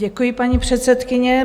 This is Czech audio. Děkuji, paní předsedkyně.